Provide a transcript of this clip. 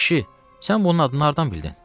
Kişi, sən bunun adını hardan bildin?